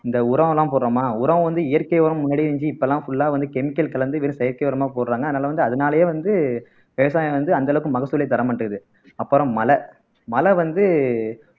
இந்த உரம் எல்லாம் போடுறோமா உரம் வந்து இயற்கை உரம் முன்னாடியே இருந்துச்சு இப்பல்லாம் full ஆ வந்து chemical கலந்து வெறும் செயற்கை உரமா போடுறாங்க அதனால வந்து அதனாலயே வந்து விவசாயம் வந்து அந்த அளவுக்கு மகசூலை தர மாட்டேங்குது அப்புறம் மழை மழை வந்து